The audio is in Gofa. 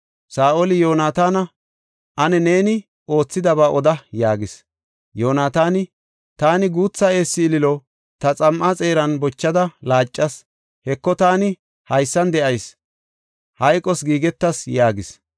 Saa7oli Yoonataana, “Ane neeni oothidaba oda” yaagis. Yoonataani, “Taani guutha eessa ililo ta xam7aa xeeran bochada laacas. Heko taani haysan de7ayis; hayqos giigetas” yaagis.